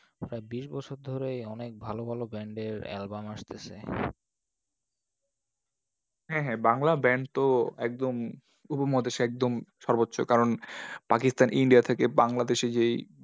প্রায় বিশ বছর ধরেই অনেক ভালো ভালো band এর album আসতেসে। হ্যাঁ হ্যাঁ বাংলা band তো একদম উপমহাদেশে একদম সর্বোচ্চ। কারণ, পাকিস্তান India থেকে বাংলাদেশে যে এই